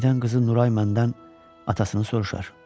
Birdən qızı Nuray məndən atasını soruşar.